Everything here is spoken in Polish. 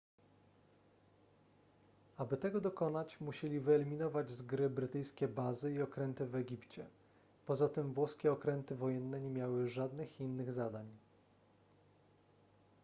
aby tego dokonać musieli wyeliminować z gry brytyjskie bazy i okręty w egipcie poza tym włoskie okręty wojenne nie miały żadnych innych zadań